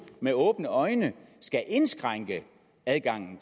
med åbne øjne skal indskrænke adgangen